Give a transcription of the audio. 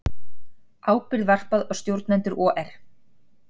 Ábyrgð varpað á stjórnendur OR